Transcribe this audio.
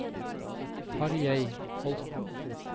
Tarjei Holten